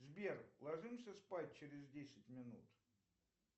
сбер ложимся спать через десять минут